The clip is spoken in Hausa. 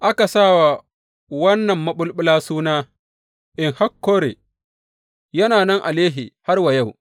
Aka sa wa wannan maɓulɓula suna En Hakkore, yana nan a Lehi har wa yau.